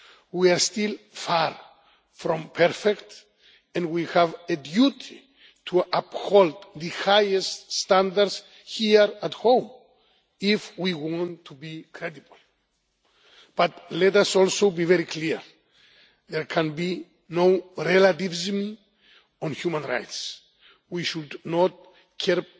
We are still far from perfect and we have a duty to uphold the highest standards here at home if we want to be credible. But let us also be very clear there can be no relativism on human rights. We should not